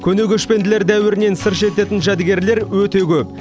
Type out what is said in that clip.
көне көшпенділер дәуірінен сыр шертетін жәдігерлер өте көп